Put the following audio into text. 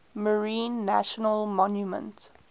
marine national monument